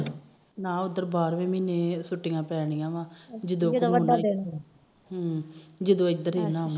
ਨਾ ਉਧਰ ਬਾਰਵੇ ਮਹੀਨੇ ਛੁਟੀਆਂ ਪੈਣੀਆਂ ਵਾ ਜਦੋ ਇਧਰ